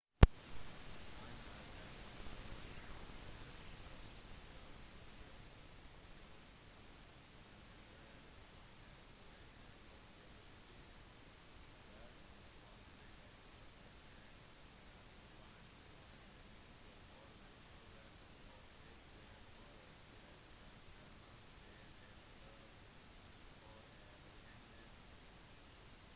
andre alternativer basert på biorytme innebærer å ha drukket masse væske særlig vann eller te et kjent vanndrivende middel før man sover og dette fører til at man er nødt til å stå opp for å urinere